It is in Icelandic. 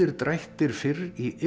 drættir fyrr í